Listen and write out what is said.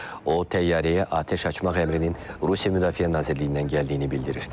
O təyyarəyə atəş açmaq əmrinin Rusiya Müdafiə Nazirliyindən gəldiyini bildirir.